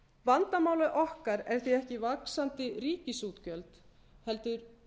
vandamálið okkar er því ekki vaxandi ríkisútgjöld heldur